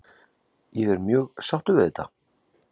Ég er mjög sáttur við þetta?